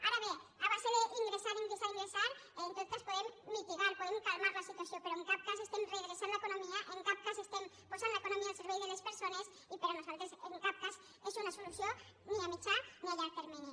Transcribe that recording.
ara bé a base d’ingressar ingressar ingressar en tot cas podem mitigar podem calmar la situació però en cap cas estem redreçant l’economia en cap cas estem posant l’economia al servei de les persones i per nosaltres en cap cas és una solució ni a mitjà ni a llarg termini